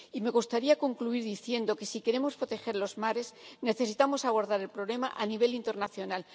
Y me gustaría concluir diciendo que, si queremos proteger los mares, necesitamos abordar el problema a nivel internacional.